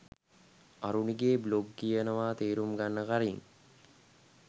අරුණිගෙ blog කියවා තේරුම් ගන්න කලින්